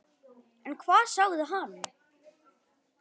En hvað sagði hann?